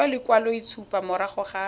go fiwa lekwaloitshupo morago ga